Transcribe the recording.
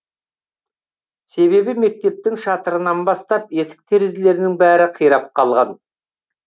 себебі мектептің шатырынан бастап есік терезелерінің бәрі қирап қалған